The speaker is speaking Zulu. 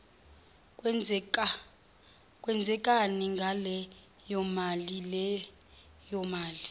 kwenzekani ngaleyomali leyomali